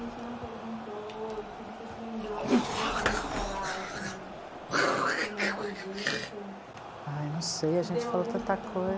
A gente não perguntou, e que você se lembrou, o que você gostaria de falar, assim, que ainda não foi dito? Ah, eu não sei, a gente falou tanta